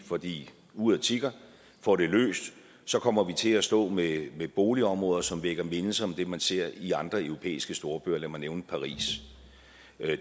fordi uret tikker får det løst så kommer vi til at stå med boligområder som vækker mindelser om det man ser i andre europæiske storbyer lad mig nævne paris